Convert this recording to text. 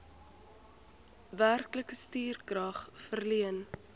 werklike stukrag verleen